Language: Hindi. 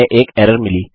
हमें एक एरर मिली